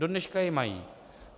Dodneška je mají.